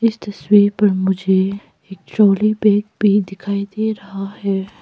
इस तस्वीर पर मुझे एक ट्रॉली बैग भी दिखाई दे रहा है।